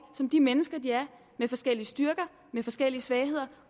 som de mennesker de er med forskellige styrker med forskellige svagheder